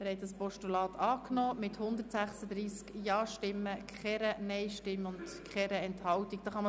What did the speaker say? Sie haben das Postulat mit 136 Ja-, ohne Nein-Stimmen und ohne Enthaltungen angenommen.